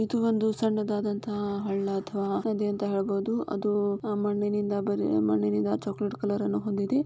ಇದು ಒಂದು ಸಣ್ಣದಾದಂತಹ ಹಳ್ಳ ಅಥವಾ ನದಿ ಅಂತ ಹೇಳ್ಬೋದು ಅದು ಮಣ್ಣಿನಿಂದ ಬರೆ ಮಣ್ಣಿನಿಂದ ಚಾಕೋಲೇಟ್ ಕಲರ್ ಅನ್ನು ಹೊಂದಿದೆ.